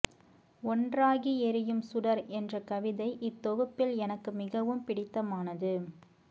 ஒன்றாகி எரியும் சுடர் என்ற கவிதை இத்தொகுப்பில் எனக்கு மிகவும் பிடித்தமானது